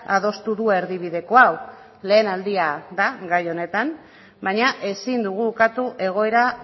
adostu du erdibideko hau lehen aldia da gai honetan baina ezin dugu ukatu egoera